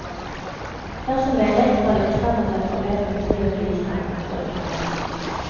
Dersom menighetsrådet bestemmer seg for å be politiet om bistand, står det parat.